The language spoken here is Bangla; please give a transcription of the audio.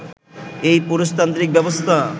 এই পুরুষতান্ত্রিক ব্যবস্থা